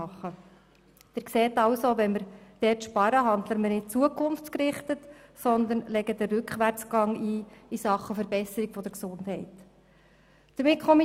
Wie Sie sehen, handeln wir, wenn wir in diesem Bereich sparen, nicht zukunftsgerichtet, sondern wir legen den Rückwärtsgang in Sachen Verbesserung der Gesundheit ein.